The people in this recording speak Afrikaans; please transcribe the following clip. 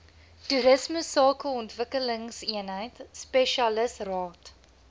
toerisme sakeontwikkelingseenheid spesialisraad